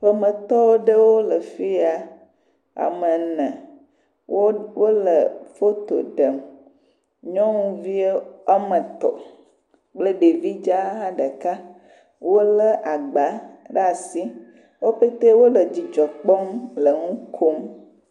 Ƒometɔ ɖewo le fi ya. Ame ene. Wo wole foto ɖem. Nyɔnuvi wo ame etɔ̃ kple ɖevi dzz ɖeka. wolé agbaa ɖaa si. Wo ƒetee wole dzidzɔ kpɔm le ŋu kom.